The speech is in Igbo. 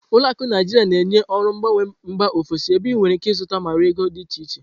Ụlọ akụ Naijiria na-enye ọrụ mgbanwe mba ofesi, ebe ị nwere ike ịzụta ma ree ego dị iche iche.